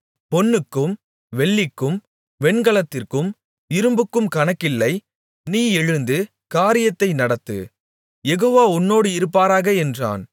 பொன்னுக்கும் வெள்ளிக்கும் வெண்கலத்திற்கும் இரும்புக்கும் கணக்கில்லை நீ எழுந்து காரியத்தை நடத்து யெகோவா உன்னோடு இருப்பாராக என்றான்